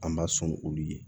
An b'a sɔn olu ye